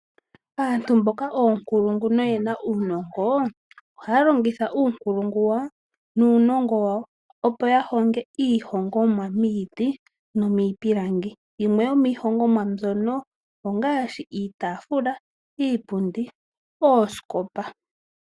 Aantu mboka oonkulungu no ye na uunongo, ohaya longitha uunkulungu wawo nuunongo wawo opo ya honge iihongomwa miiti nomiipilangi yimwe yomiihongomwa mbyono ongaashi iitafula, iipundi noosikopa.